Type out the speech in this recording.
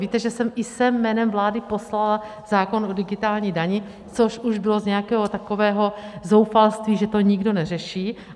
Víte, že jsem i sem jménem vlády poslala zákon o digitální dani, což už bylo z nějakého takového zoufalství, že to nikdo neřeší.